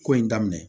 Ko in daminɛ